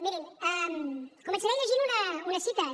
mirin començaré llegint unes cites